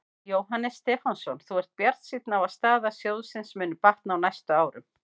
Jóhannes Stefánsson: Þú ert bjartsýnn á að staða sjóðsins muni batna á næstu árum?